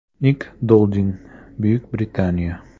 Nik Dolding, Buyuk Britaniya.